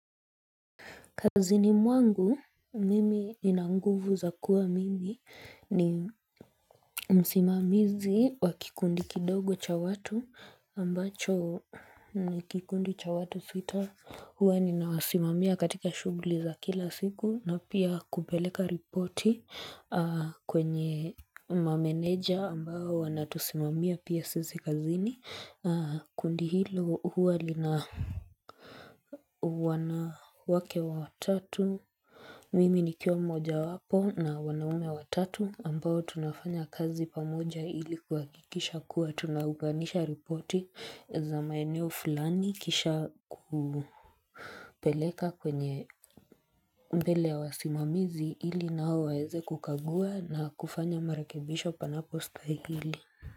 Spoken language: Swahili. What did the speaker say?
Kazini mwangu mimi nina nguvu za kuwa mimi ni msimamizi wa kikundi kidogo cha watu ambacho ni kikundi cha watu sita. Huwa ninawasimamia katika shughuli za kila siku na pia kupeleka ripoti kwenye mameneja ambao wanaotusimamia pia sisi kazini kundi hilo huwa lina wanawake watatu. Mimi nikiwa mmoja wapo na wanaume watatu ambao tunafanya kazi pamoja ili kuhakikisha kuwa tunaunganisha ripoti za maeneo fulani kisha kupeleka kwenye mbele ya wasimamizi ili nao waweze kukagua na kufanya marekebisho panapostahili.